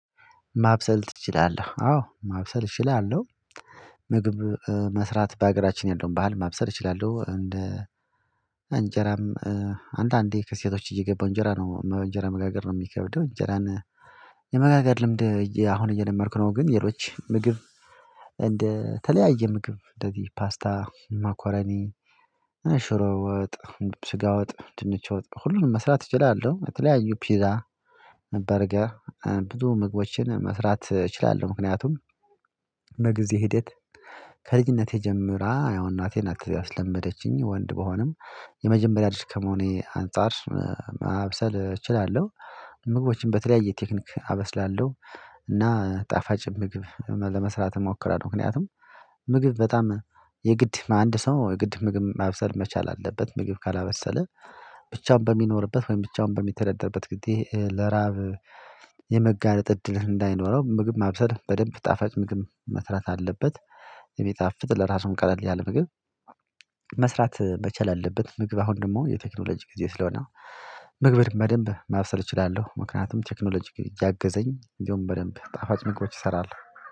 ማብሰል ትችላለህ አዎ ማብሰል እችላለሁ። ምግብ መስራት በሀገራችን ያለውን ባህል ማብሰል እችላለሁ። እንደ እንጀራም አንተ አንዴ ከሴቶች እየገባሁ እንጀራ ነው እንጀራ መጋገር ነው የሚከብደው። እንጀራን የመጋገር ልምድ አሁን እየደመርኩ ነው። ግን ሌሎች ምግብ እንደ ምግብ እንደዚህ ፓስታ ማኮረኒ ሽሮ ወጥ ስጋ ወጥ ድንች ወጥ ሁሉንም መስራት እችላለሁ። በተለያዩ ፒዛ በርገር ብዙ ምግቦችን መስራት እችላለሁ። ምክንያቱም በጊዜ ሂደት ከልጅነቴ ጀምራ ያው እናቴን ናት ያስለመደችኝ ወንድ በሆነም የመጀመሪያ ልጅ ከመሆኔ አንፃር። ማብሰል እችላለሁ ምግቦችን በተለያየ ቴክኒክ አበስላለሁ። እና ጣፋጭ ምግብ ለመስራት እሞክራለሁ። ምክንያቱም ምግብ በጣም የግድ አንድ ሰው የግድ ምግብ ማብሰል መቻል አለበት። ምግብ ካላበሰለ ብቻውን በሚኖርበት ወይም ብቻውን በሚተደደርበት ጊዜ ለራብ የመጋለጥ እድል እንዳይኖረው። ምግብ ማብሰል በደንብ ጣፋጭ ምግብ መስራት አለበት። የሚጣፍጥ ለራሱም ቀለል ያለ ምግብ መስራት መቻል አለበት። ምግብ አሁን ደግሞ የቴክኖሎጂ ጊዜ ስለሆነ ምግብር በደንብ ማብሰል እችላለሁ። ምክንያቱም ቴክኖሎጂ እያገዘኝ እንደውም በደንብ ጣፋጭ ምግቦች እሰራለሁ